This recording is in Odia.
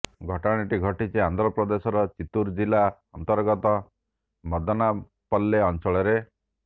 ଘଟଣାଟି ଘଟିଛି ଆନ୍ଧ୍ରପ୍ରଦେଶର ଚିତ୍ତୁର ଜିଲା ଅନ୍ତର୍ଗତ ମଦନାପଲ୍ଲେ ଅଞ୍ଚଳରେ